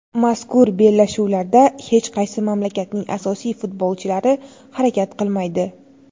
Mazkur bellashuvlarda hech qaysi mamlakatning asosiy futbolchilari harakat qilmaydi.